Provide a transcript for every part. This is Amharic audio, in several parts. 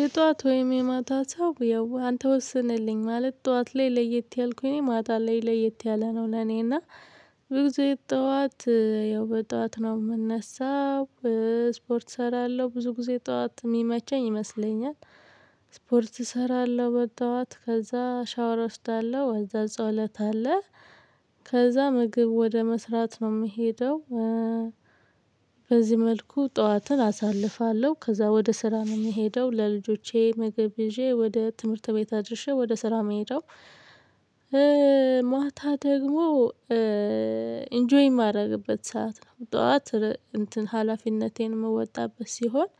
የጠዋት ወይም የማታ ሰው ያው አንተ ወስንልኝ ማለት ጠዋት ላይ ለየት ያልኩኝ እኔ ማታ ላይ ለየት ያለ ነው ለእኔ እና ብዙ ጊዜ ጠዋት ያው በጠዋት ነው የምነሳው። ስፖርት እሰራለሁ ብዙ ጊዜ ጠዋት የሚመቸኝ ይመስለኛል። ስፖርት እሰራለሁ በጠዋት ከዚያ ሻወር እወስዳለሁ ከዚያ ጸሎት አለ። ከዚያ ምግብ ወደ መስራት ነው የምሄደው። በዚህ መልኩ ጠዋትን አሳልፋለሁ ከዚያ ወደ ስራ ነው የምሄደው ለልጆቼ መግብ ይዤ ወደ ትምህርት ቤት አድርሼ ወደ ስራ የምሄደው። ማታ ደግሞ ኢንጆይ የማደርግበት ሰዓት ነው ጠዋት እንትን ሀላፊነቴን መወጣበት ሲሆን።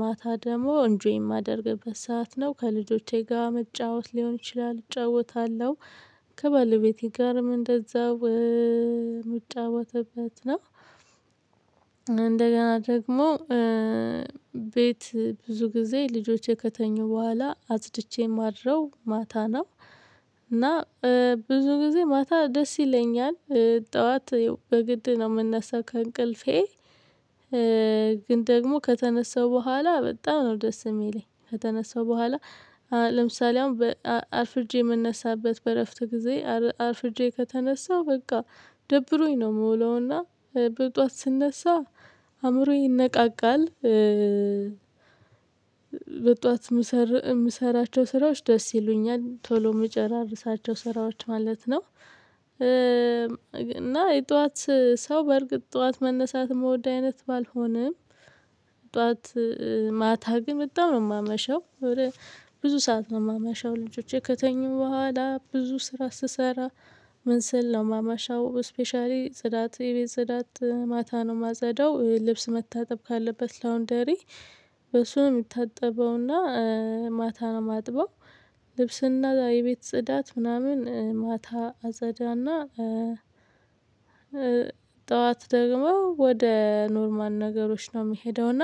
ማታ ደግሞ እንጆይ የማደርግበት ሰዓት ነው ከልጆቼ ጋር መጫወት ሊሆን ይችላል እጫወታለሁ። ከባለቤቴ ጋርም እንደዛው ምጫወጥትበት ነው። እንደገና ደግሞ ቤት ብዙ ጊዜ ልጆቼ ከተኙ በኋላ አጽድቼ ማድረው ማታ ነው። እና ብዙ ጊዜ ማታ ደስ ይለኛል። ጠዋት በግድ ነው የምናሰው ከእንቅልፌ ግን ደግሞ ከተነሳው በኋላ በጣም ነው ደስ የሚለኝ ከተነሳው በኋላ። ለምሳሌ አሁን በ አርፍጄ የምነሳበት በእረፍት ጊዜ አርፍጄ ከተነሳው በቃ ደብሮኝ ነው የምውለውና በጠዋት ስነሳ አእምሮዬ ይነቃቃል። በጠዋት የምሰራቸው ስራዎች ደስ ይሉኛል ቶሎ የምጨራርሳቸው ስራዎች ማለት ነው። እና የጠዋት ሰው በእርግጥ ጠዋት መነሳት ምወድ አይነት ባልሆንም። ጠዋት ማታ ግን በጣም ነው የማመሸው። ብዙ ሰዓት ነው የማመሸው ልጆቼ ከተኙ በኋላ ብዙ ስራ ስሰራ። ምን ስል ነው ማማሻው ስፔሻሊ ጽዳት የቤት ጽዳት ማታ ነው ማጸዳው ልብስ መታጠብ ካለበት ላወንደር። በሱ ነው የሚታጠበውና ማታ ነው ማጥበው። ልብስና የቤት ጽዳት ምናምን ማታ አፅዳና። ጠዋት ደግሞ ወደ ኖርማል ነገሮች ነው የሚሄደው። እና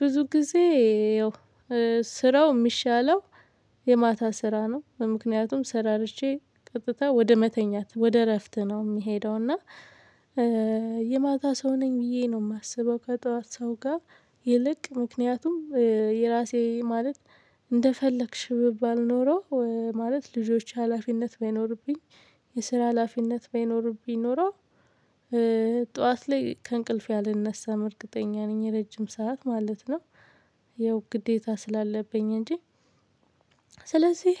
ብዙ ጊዜ ያው ስራው የሚሻለው። የማታ ስራ ነው ምክንያቱም ስራርቼ ቀጥታ ወደ መተኛት ወደ እረፍት ነው የሚሄደው። እና የማታ ሰው ነኝ ብዬ ነው የማስበው ከጠዋት ሰው ጋር። ይልቅ ምክንያቱም የራሴ ማለት እንደፈለግሽ ብባል ኖሮ ማለት ልጆች ሀላፊነት ባይኖርብኝ የስራ ሀላፊነት ባይኖርብኝ ኖሮ። ጠዋት ላይ ከእንቅልፍ አልነሳም እርግጠኛ ነኝ ረጅም ሰዓት ማለት ነው። ያው ግዴታ ስላለብኝ እንጂ። ስለዚህ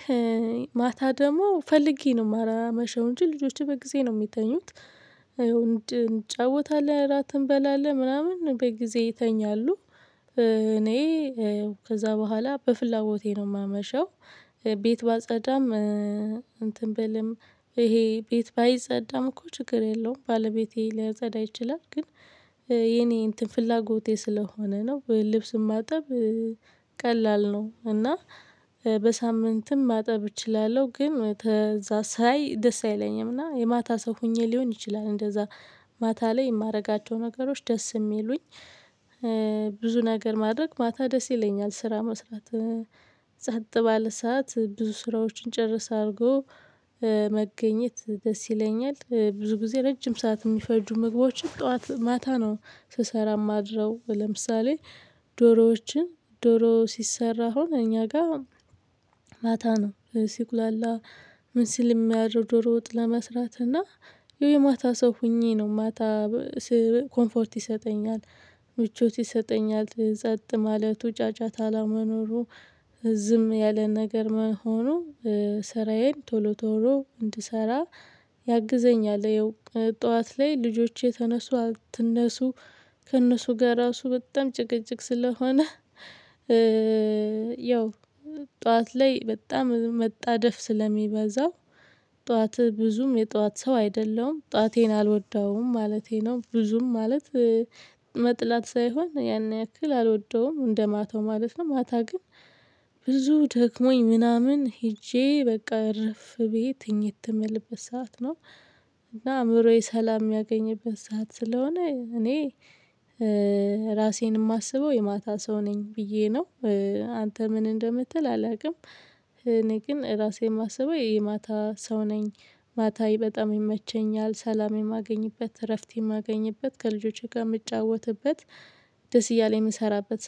ማታ ደግሞ ፈልጌ ነው ማላመሸው እንጂ ልጆቼ በጊዜ ነው የሚተኙት። እንጫወታለን እራት እንበላለን ምናምን በጊዜ ይተኛሉ። እኔ ከዚያ በኋላ በፍላጎቴ ነው የማመሸው። ቤት ባጸዳም እንትን በልም ይሄ ቤት ባይጸዳም እኮ ችግር የለውም። ባለቤቴ ሊያጸዳ ይችላል ግን የኔ እንትን ፍላጎቴ ስለሆነ ነው ወይ ልብስ ማጠብ? ቀላል ነው እና በሳምንትም ማጠብ እችላለሁ። ግን ከዚያ ሳይ ደስ አይለኝም እና የማታ ሰው ሆኜ ሊሆን ይችላል እንደዚያ ማታ ላይ የማደርጋቸው ነገሮች ደስ የሚሉኝ። ብዙ ነገር ማድረግ ማታ ደስ ይለኛል ስራ መስራት። ጻጥ ባለ ሰዓት ብዙ ስራዎችን ጨርሰህ አድርጎ መገኘት ደስ ይለኛል። ብዙ ጊዜ ረጅም ሰዓት የሚፈጁ ምግቦችን ጠዋት ማታ ነው ስሰራ የማድረው ለምሳሌ ዶሮዎችን ዶሮ ሲሰራ አሁን እኛ ጋር። ማታ ነው ሲቁላላ ምን ሲል የሚያድርው ድሮ ወጥ ለመስራት እና ይሄ የማታ ሰው ሆኜ ነው ማታ። ኮምፎርት ይሰጠኛል። ምቾት ይሰጠኛል ጸጥ ማለቱ ጫጫታ አለመኖሩ። ዝም ያለ ነገር መሆኑ። ስራዬን ቶሎ ቶሎ እንድሰራ ያግዘኛል። ጠዋት ላይ ልጆቼ ተነሱ አትነሱ ከእነሱ ጋር ራሱ በጣም ጭቅጭቅ ስለሆነ። ያው ጠዋት ላይ በጣም መጣደፍ ስለሚበዛው። ጠዋትህ ብዙም የጠዋት ሰው አይደለሁም ጠዋቴን አልወደውም ማለቴ ነው። ብዙም ማለት መጥላት ሳይሆን ያን ያክል አልወደውም እንደማታው ማለት ነው። ማታ ግን ብዙ ደክሞኝ ምናምን ሄጄ በቃ እረፍ ቤት ትኝት የምልበት ሰዓት ነው። እና አእምሮዬ ሰላም የሚያገኝበት ሰዓት ስለሆነ እኔ ራሴን የማስበው የማታ ሰው ነኝ ብዬ ነው። አንተ ምን እንደምትል አላውቅም። እኔ ግን ራሴ የማስበው የማታ ሰው ነኝ። ማታ በጣም ይመቸኛል ሰላም የማገኝበት እረፍት የማገኝበት ከልጆቼ ጋር የምጫወትበት ደስ እያለ የምሰራበት